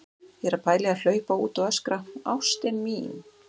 Ég er að pæla í að hlaupa út og öskra: ÁSTIN MÍN!